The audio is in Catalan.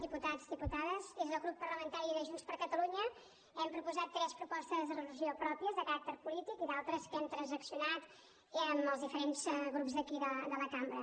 diputats diputades des del grup parlamentari de junts per catalunya hem proposat tres propostes de resolució pròpies de caràcter polític i d’altres que hem transaccionat amb els diferents grups d’aquí de la cambra